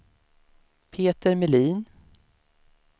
Peter Melin